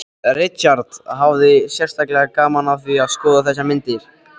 Richard hafði sérstaklega gaman af því að skoða þessar myndir